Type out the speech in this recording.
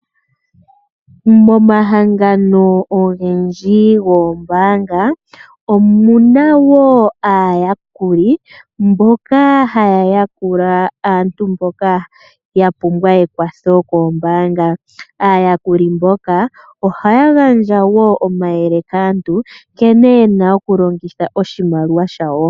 Momahangano ogendji goombaanga omu na wo aayakuli mboka haya yakula aantu mboka ya pumbwa ekwatho lyombaanga. Aayakuli ohaya gandja wo omayele kaantu nkene ye na okulongitha oshimaliwa shawo.